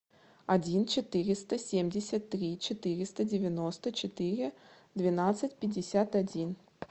один четыреста семьдесят три четыреста девяносто четыре двенадцать пятьдесят один